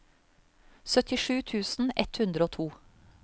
syttisju tusen ett hundre og to